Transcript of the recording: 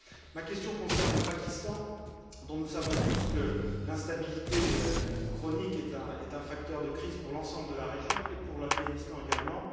Ma question concerne le Pakistan, dont nous savons tous que l'instabilité chronique est un facteur de crise pour l'ensemble de la région et pour l'Afghanistan également.